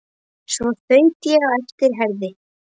Svo þaut ég á eftir Herði.